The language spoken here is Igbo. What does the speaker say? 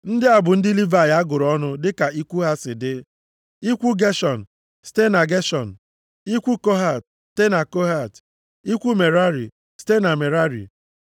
Ndị a bụ ndị Livayị a gụrụ ọnụ dịka ikwu ha si dị, ikwu Geshọn, site na Geshọn, ikwu Kohat, site na Kohat, ikwu Merari, site na Merari.